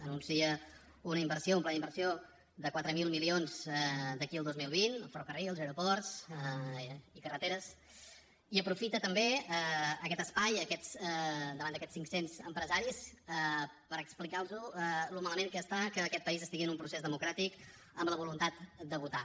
anuncia una inversió un pla d’inversió de quatre mil milions d’aquí al dos mil vint en ferrocarrils aeroports i carreteres i aprofita també aquest espai davant d’aquests cinc cents empresaris per explicar los com està de malament que aquest país estigui en un procés democràtic amb la voluntat de votar